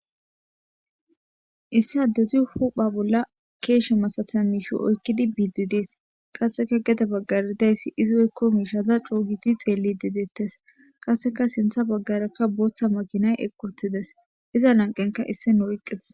Issi adey de'eyis ba bolla keshe azida mishe ooyikidi buddies qaska gedebagan deyis izi oyiko mishya coogidi xelidi de'ets qasika sinitha bagara botha makinay eqi utides iza laniqenika na'ay eqi utides